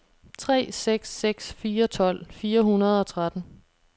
tre seks seks fire tolv fire hundrede og tretten